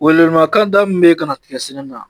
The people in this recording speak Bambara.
Welewele makan da min bɛ ka na tigɛ sɛnɛ na